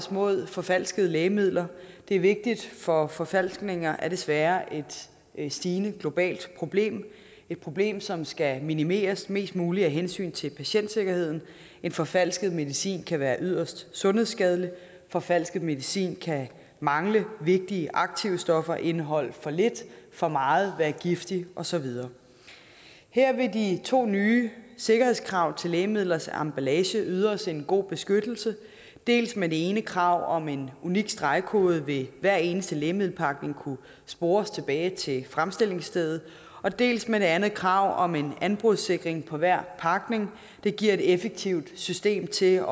os mod forfalskede lægemidler det er vigtigt for forfalskninger er desværre et stigende globalt problem et problem som skal minimeres mest muligt af hensyn til patientsikkerheden en forfalsket medicin kan være yderst sundhedsskadelig for falsk medicin kan mangle vigtige aktive stoffer indeholde for lidt for meget være giftigt og så videre her vil de to nye sikkerhedskrav til lægemidlers emballage yde os en god beskyttelse dels med det ene krav om at med en unik stregkode vil hver eneste lægemiddelpakning kunne spores tilbage til fremstillingsstedet dels med det andet krav om en anbrudssikring på hver pakning det giver et effektivt system til